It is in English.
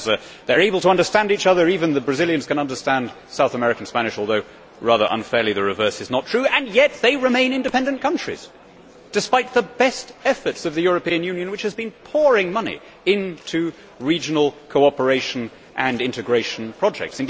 they are able to understand each other even the Brazilians can understand South American Spanish although, rather unfairly, the reverse is not true and yet they remain independent countries, despite the best efforts of the European Union which has been pouring money into regional cooperation and integration projects.